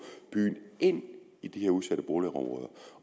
byen ind i de her udsatte boligområder